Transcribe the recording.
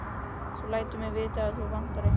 Þú lætur mig vita ef þig vantar eitthvað.